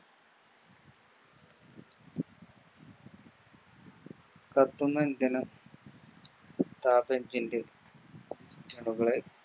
കത്തുന്ന ഇന്ധന Car engine ൻറെ